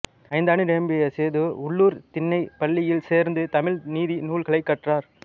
ஐந்தாண்டு நிரம்பிய சேது உள்ளூர்த் திண்ணைப் பள்ளியில் சேர்ந்து தமிழ் நீதி நூல்களைக் கற்றார்